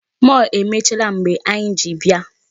Mall emechiela mgbe anyị ji bịa.